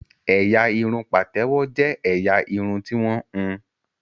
Ẹ̀yà irun pátèwọ jé ẹyà Irun ti wón hùn.